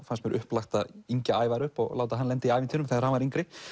fannst upplagt að Ævar upp og láta hann lenda í ævintýrum þegar hann var yngri